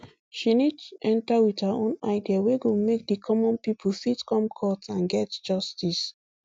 she need to enta wit her own idea wey go make di common pipo fit come court and get justice